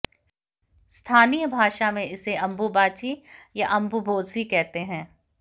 स्थानीय भाषा में इसे अंबुबाची या अंबुबोसी कहते हैं